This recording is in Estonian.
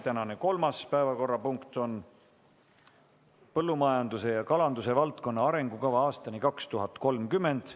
Tänane kolmas päevakorrapunkt on põllumajanduse ja kalanduse valdkonna arengukava aastani 2030.